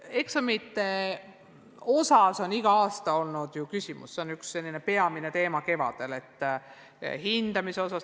Eksamite osas on igal aastal olnud küsimus hindamise kohta, see on kevaditi üks peamine teema.